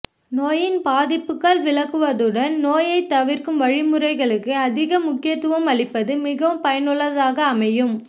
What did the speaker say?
நோயின் பாதிப்புகள் பற்றி விளக்குவதுடன் நோயை தவிற்க்கும் வழிகளுக்குஅதிக முக்கியத்துவம் அளிப்பது மிகவும் பயனுள்ளதாக அமையும்